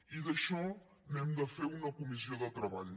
i d’això n’hem de fer una comissió de treball